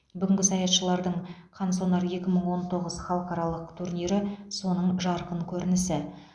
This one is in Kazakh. бүгінгі саятшылардың қансонар екі мың он тоғыз халықаралық турнирі соның жарқын көрінісі